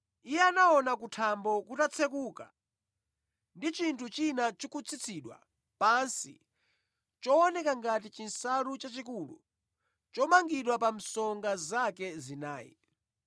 Iye anaona kuthambo kutatsekuka, ndi chinthu china chikutsitsidwa pansi chooneka ngati chinsalu chachikulu chomangidwa pa msonga zake zinayi.